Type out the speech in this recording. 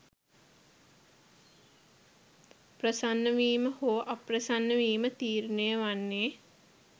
ප්‍රසන්නවීම හෝ අප්‍රසන්නවීම තීරණය වන්නේ